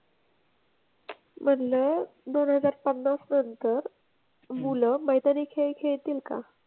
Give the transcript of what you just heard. म्हणलं दोन हजार पन्नास नंतर मुलं मैदानी खेळ खेळतील का?